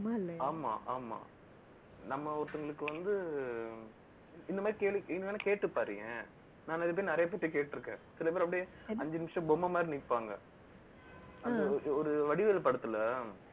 ஆமா, ஆமா நம்ம ஒருத்தவங்களுக்கு வந்து, இந்த மாதிரி கேள்வி, நீங்க வேணா கேட்டுப் பாருங்க நிறைய பேர், நிறைய பேர்கிட்ட கேட்டிருக்கேன். சில பேர், அப்படியே, அஞ்சு நிமிஷம், பொம்மை மாதிரி நிப்பாங்க. ஒரு வடிவேலு படத்துல